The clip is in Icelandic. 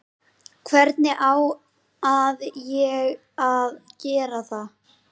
Hvernig á að ég að gera það?